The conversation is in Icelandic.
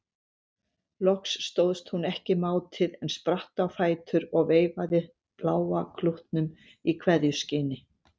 Loks stóðst hún ekki mátið en spratt á fætur og veifaði bláa klútnum í kveðjuskyni.